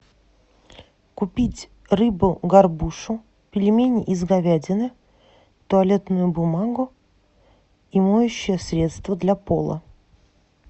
купить рыбу горбушу пельмени из говядины туалетную бумагу и моющее средство для пола